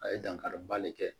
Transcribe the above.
A ye dankari bali kɛ